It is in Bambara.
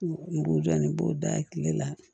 N b'o jɔ ni n b'o da kile la